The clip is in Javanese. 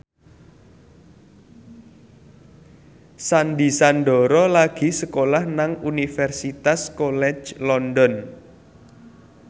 Sandy Sandoro lagi sekolah nang Universitas College London